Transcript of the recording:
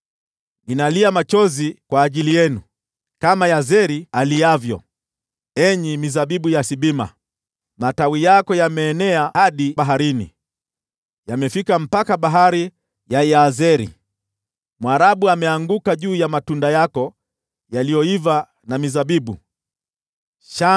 Ninalia machozi kwa ajili yenu, kama Yazeri aliavyo, enyi mizabibu ya Sibma. Matawi yako yameenea hadi baharini; yamefika hadi bahari ya Yazeri. Mharabu ameyaangukia matunda yako yaliyoiva na mizabibu yako iliyoiva.